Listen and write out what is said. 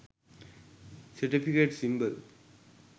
certificate symbol